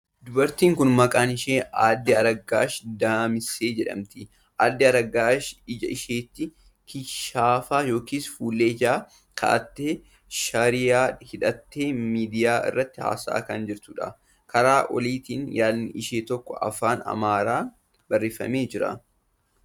Dubartiin kun maqaan ishee Aadde Araggaash Damisee jedhamti. Aadde Araggaash ija isheetti kishaafa yookiin fuullee ijaa kaa'attee, shariyaa hidhattee miidiyaa irratti haasa'aa kan jirtuudha. Karaa oliitiin yaadni ishee tokko afaan Amaaraan barreeffamee jira.